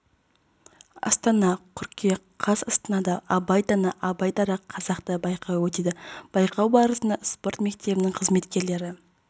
астана қыркүйек қаз астанада абай дана абай дара қазақта байқауы өтеді байқау барысында спорт мектебінің қызметкерлері